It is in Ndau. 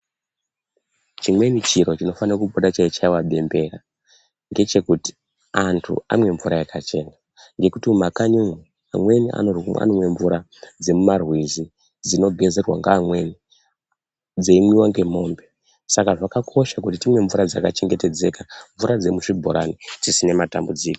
Chimweni chiro chinofanopota cheichaiwa bembera ngechekuti antu amwe mvura yakachena ngekuti mumakanyi umwo amweni anomwe mvura dzemumarwizi dzinogezerwa ngeamweni dzeimwiwa ngemwombe saka zvakakosha kuti timwe mvura dzakachengetedzeka mvura dzemuzvibhorani dzisina matambudziko.